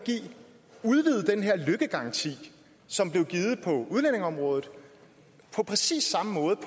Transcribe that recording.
udvide den her løkkegaranti som blev givet på udlændingeområdet på præcis samme måde